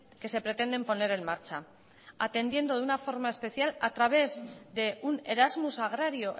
que se pretenden poner en marcha atendiendo de una forma especial a través de un erasmus agrario